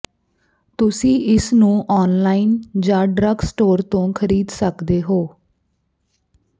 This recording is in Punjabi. ਤੁਸੀਂ ਇਸ ਨੂੰ ਔਨਲਾਈਨ ਜਾਂ ਡਰੱਗ ਸਟੋਰ ਤੋਂ ਖਰੀਦ ਸਕਦੇ ਹੋ